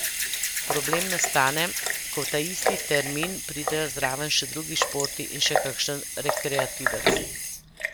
Problem nastane, ko v ta isti termin pridejo zraven še drugi športi in še kakšen rekreativec.